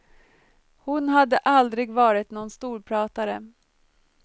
Hon hade aldrig varit någon storpratare.